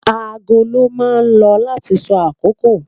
Aago lon ma lo lati so akoko